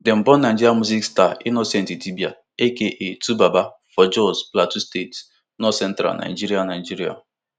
dem born nigeria music star innocent idibia aka twobaba for jos plateau state northcentral nigeria nigeria